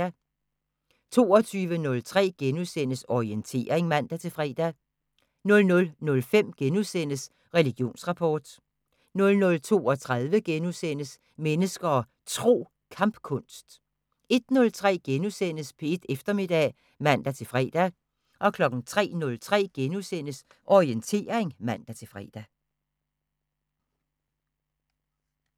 22:03: Orientering *(man-fre) 00:05: Religionsrapport * 00:32: Mennesker og Tro: Kampkunst * 01:03: P1 Eftermiddag *(man-fre) 03:03: Orientering *(man-fre)